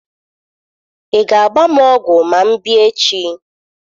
Ị ga-agba m ọgwụ ma m bịa echi?